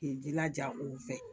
K'i jilaja o fɛ